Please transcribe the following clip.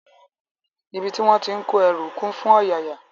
Ibi tí wón ti ń kó ẹrú kún fún ọ̀yààyà